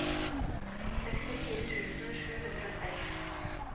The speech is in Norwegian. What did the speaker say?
sekstifire tusen sju hundre og seks